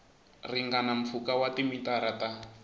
ringana mpfhuka wa timitara ta